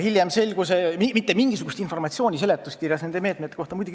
Hiljem selgus, mitte mingisugust informatsiooni seletuskirjas nende meetmete kohta pole.